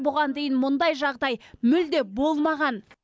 бұған дейін мұндай жағдай мүлде болмаған